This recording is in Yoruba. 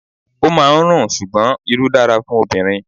O máa ń rùn, ṣùgbọ́n Irú dára fún obìnrin.